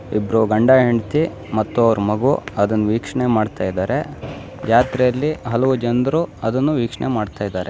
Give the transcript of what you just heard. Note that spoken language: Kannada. ಇದ್ರು ಗಂಡ ಹೆಂಡ್ತಿ ಮತ್ತು ಅವರ ಮಗು ಅದನ್ನ ವೀಕ್ಷಣೆ ಮಾಡ್ತಾ ಇದ್ದಾರೆ ಯಾತ್ರೆಯಲ್ಲಿ ಹಲವು ಜನರು ಅದನ್ನು ವೀಕ್ಷಣೆ ಮಾಡ್ತಾ ಇದ್ದಾರೆ.